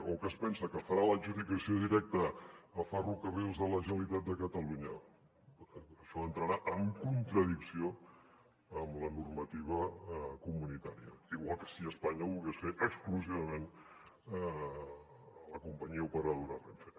o què es pensa que farà l’adjudicació directa a ferrocarrils de la generalitat de catalunya això entrarà en contradicció amb la normativa comunitària igual que si espanya ho volgués fer exclusivament a la companyia operadora renfe